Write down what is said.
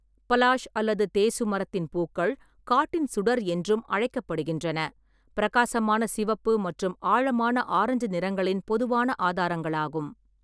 பலாஷ் அல்லது தேசு மரத்தின் பூக்கள், காட்டின் சுடர் என்றும் அழைக்கப்படுகின்றன, பிரகாசமான சிவப்பு மற்றும் ஆழமான ஆரஞ்சு நிறங்களின் பொதுவான ஆதாரங்களாகும்.